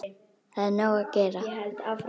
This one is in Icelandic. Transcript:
Það er nóg að gera.